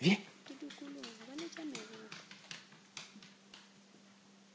di dukuloga ba letša meropa